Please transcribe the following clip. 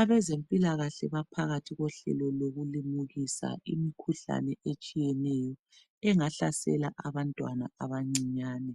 abezempilakahle baphakathi kohlelo lokumukisa imikhuhlane etshiyeneyo engahlasela abantwana abancinyane